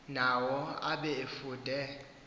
nawo abe efude